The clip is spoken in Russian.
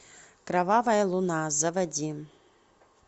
кровавая луна заводи